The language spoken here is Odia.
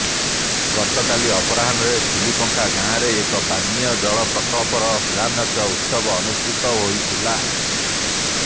ଗତକାଲି ଅପରାହ୍ଣରେ ଖିଲିପଙ୍ଖା ଗାଁରେ ଏକ ପାନୀୟ ଜଳ ପ୍ରକଳ୍ପର ଶିଳାନ୍ୟାସ ଉତ୍ସବ ଅନୁଷ୍ଠିତ ହୋଇଥିଲା